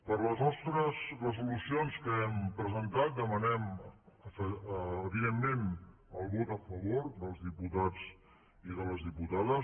per a les nostres resolucions que hem presentat demanem evidentment el vot a favor dels diputats i de les diputades